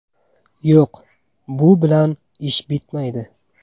Yo‘q, bu bilan ish bitmaydi.